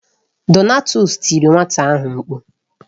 Donatus tiri nwata ahụ mkpu.